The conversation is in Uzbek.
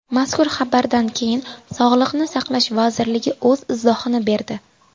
Mazkur xabarlardan keyin Sog‘liqni saqlash vazirligi o‘z izohini berdi .